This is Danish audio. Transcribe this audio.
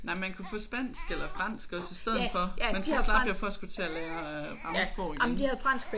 Nej man kunne få spansk eller fransk også i stedet for men så slap jeg for at skulle til at lære fremmedsprog igen